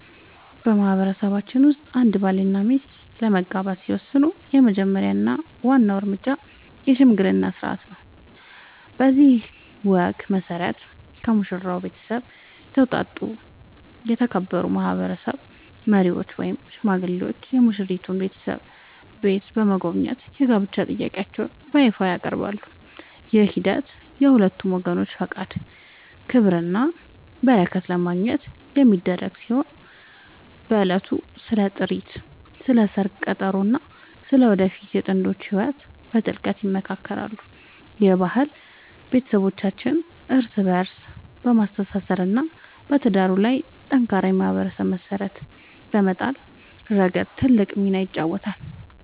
በማህበረሰባችን ውስጥ አንድ ባልና ሚስት ለመጋባት ሲወስኑ የመጀመሪያው እና ዋናው እርምጃ **የሽምግልና ሥርዓት** ነው። በዚህ ወግ መሠረት፣ ከሙሽራው ቤተሰብ የተውጣጡ የተከበሩ ማህበረሰብ መሪዎች ወይም ሽማግሌዎች የሙሽራይቱን ቤተሰብ ቤት በመጎብኘት የጋብቻ ጥያቄያቸውን በይፋ ያቀርባሉ። ይህ ሂደት የሁለቱን ወገኖች ፈቃድ፣ ክብርና በረከት ለማግኘት የሚደረግ ሲሆን፣ በዕለቱም ስለ ጥሪት፣ ስለ ሰርግ ቀጠሮ እና ስለ ወደፊቱ የጥንዶቹ ህይወት በጥልቀት ይመካከራሉ። ይህ ባህል ቤተሰቦችን እርስ በእርስ በማስተሳሰር እና በትዳሩ ላይ ጠንካራ የማህበረሰብ መሰረት በመጣል ረገድ ትልቅ ሚና ይጫወታል።